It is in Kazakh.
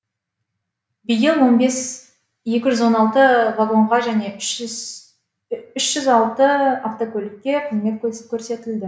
биыл онбес екі жүз он алты вагонға және үш жүз алты автокөлікке қызмет көрсетілді